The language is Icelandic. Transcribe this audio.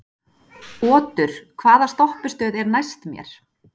Otur, hvaða stoppistöð er næst mér?